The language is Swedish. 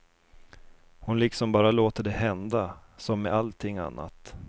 Hon liksom bara låter det hända, som med allting annat.